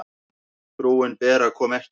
Frúin Bera kom ekki.